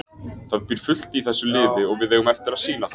Það býr fullt í þessu liði og við eigum eftir að sýna það.